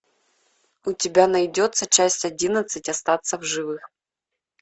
у тебя найдется часть одиннадцать остаться в живых